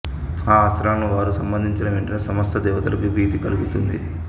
ఆ అస్త్రాలను వారు సంధించిన వెంటనే సమస్త దేవతలకు భీతి కల్గుతుంది